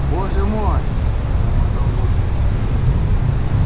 боже мой пробормотал богерт